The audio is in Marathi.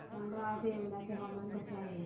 सांगा आज येवला चे हवामान कसे आहे